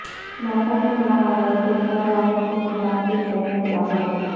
موسم بہار اور کرونا وائرس سے متاثرہ شہر لاہور